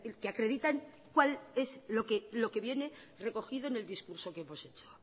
que acreditan cuál es lo que viene recogido en el discurso que hemos hecho